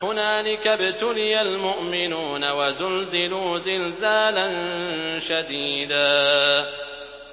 هُنَالِكَ ابْتُلِيَ الْمُؤْمِنُونَ وَزُلْزِلُوا زِلْزَالًا شَدِيدًا